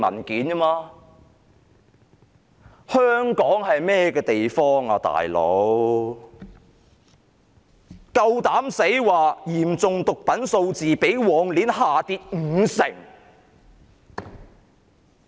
警方竟然敢說嚴重毒品案數字較上一年下跌五成。